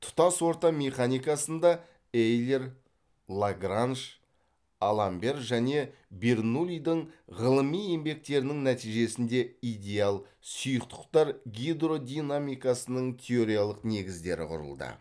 тұтас орта механикасында эйлер лагранж аламбер және бернуллидің ғылыми еңбектерінің нәтижесінде идеал сұйықтықтар гидродинамикасының теориялық негіздері құрылды